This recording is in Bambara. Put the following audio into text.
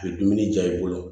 U ye dumuni di yan i bolo